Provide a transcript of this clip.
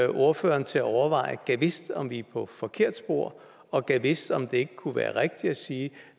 ordføreren til at overveje gad vidst om vi er på forkert spor og gad vidst om det ikke kunne være rigtigt at sige